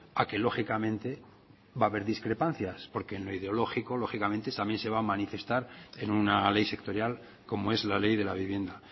a que lógicamente va a haber discrepancias porque en lo ideológico lógicamente también se va a manifestar en una ley sectorial como es la ley de la vivienda